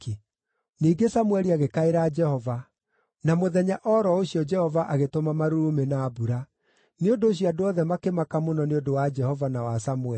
Ningĩ Samũeli agĩkaĩra Jehova, na mũthenya o ro ũcio Jehova agĩtũma marurumĩ na mbura. Nĩ ũndũ ũcio andũ othe makĩmaka mũno nĩ ũndũ wa Jehova na wa Samũeli.